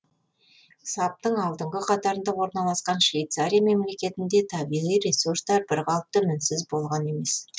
саптың алдынғы қатарында орналасқан швейцария мемлекетінде табиғи ресурстар бірқалыпты мінсіз болған емес